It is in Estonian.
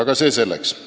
Aga see selleks.